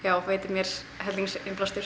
veitir mér